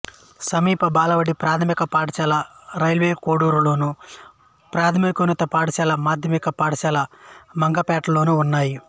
సమీప బాలబడి ప్రాథమిక పాఠశాల రైల్వే కోడూరులోను ప్రాథమికోన్నత పాఠశాల మాధ్యమిక పాఠశాల మంగంపేటలోనూ ఉన్నాయి